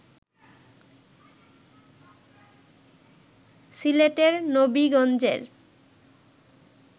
সিলেটের নবিগঞ্জের